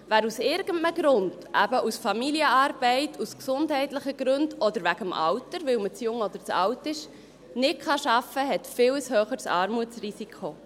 Wer aus irgendeinem Grund, eben wegen Familienarbeit, aus gesundheitlichen Gründen, oder wegen dem Alter, weil man zu jung oder zu alt ist, nicht arbeiten kann, hat ein viel höheres Armutsrisiko.